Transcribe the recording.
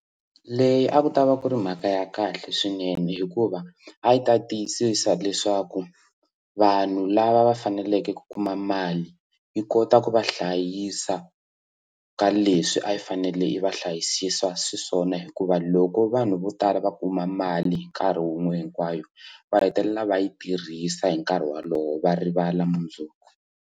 Leyi a ku ta va ku ri mhaka ya kahle swinene hikuva a yi ta tiyisisa leswaku vanhu lava va faneleke ku kuma mali yi kota ku va hlayisa ka leswi a yi fanele yi va hlayisisa swiswona hikuva loko vanhu vo tala va kuma mali hi nkarhi wun'we hinkwayo va hetelela va yi tirhisa hi nkarhi wolowo va rivala mundzuku.